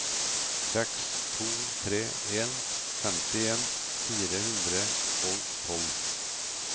seks to tre en femtien fire hundre og tolv